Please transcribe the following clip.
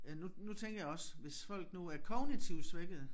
Øh nu nu tænker jeg også hvis folk nu er kognitivt svækkede